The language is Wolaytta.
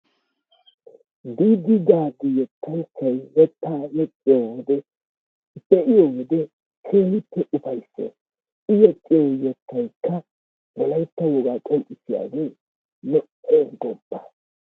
Diida Gaada yettay yexxiyoogee be'iyo wode keehippe ufayssees. I yexxiyo yettaykka wolaytta wogaa qonccissiyaagee lo''eessi goopa!